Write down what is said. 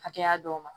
Hakɛya dɔw ma